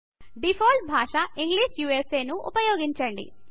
default భాషా English ను ఉపయోగించండి